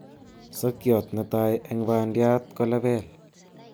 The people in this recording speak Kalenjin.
Sokyot netai en bandiat kolepeel